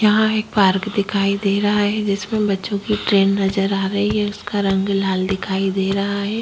यहाँ एक पार्क दिखाई दे रहा है जिसमें बच्चों की ट्रेन नज़र आ रही है उसका रंग लाल दिखाई दे रहा है।